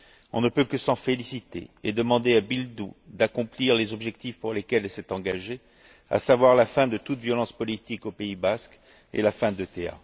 On ne peut que s'en féliciter et demander à Bildu d'accomplir les objectifs pour lesquels elle s'est engagée, à savoir la fin de toute violence politique au pays basque et la fin de l'ETA.